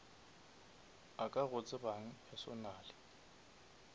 a ka go tsebang personally